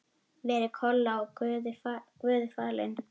Veri Kolla svo Guði falin.